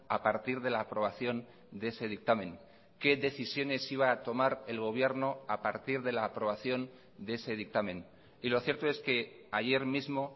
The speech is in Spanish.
a partir de la aprobación de ese dictamen qué decisiones iba a tomar el gobierno a partir de la aprobación de ese dictamen y lo cierto es que ayer mismo